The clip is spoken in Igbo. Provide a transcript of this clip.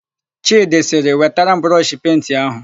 Chịdị sịrị, "wetara m brọshị penti áhụ̀"!